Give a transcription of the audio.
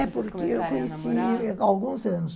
É, porque eu conheci há alguns anos.